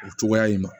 O cogoya in na